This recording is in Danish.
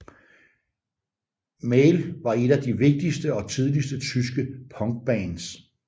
Male var et af de vigtigste og tidligste tyske punkbands